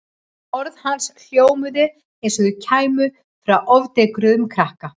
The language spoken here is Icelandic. Orð hans hljómuðu eins og þau kæmu frá ofdekruðum krakka.